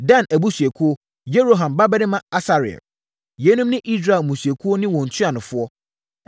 Dan abusuakuo: Yeroham babarima Asarel. Yeinom ne Israel mmusuakuo no ne wɔn ntuanofoɔ.